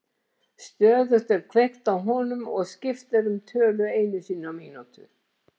Stöðugt er kveikt á honum og skipt er um tölu einu sinni á mínútu.